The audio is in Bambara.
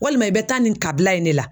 Walima i bɛ taa nin kabila in de la.